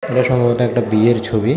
প্রসঙ্গত একটা বিয়ের ছবি।